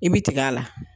I bi tigɛ a la